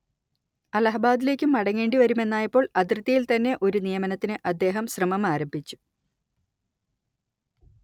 അലഹബാദിലേക്ക് മടങ്ങേണ്ടി വരുമെന്നായപ്പോൾ അതിർത്തിയിൽത്തന്നെ ഒരു നിയമനത്തിന് അദ്ദേഹം ശ്രമമാരംഭിച്ചു